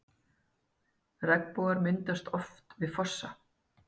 Regnbogar myndast oft við fossa.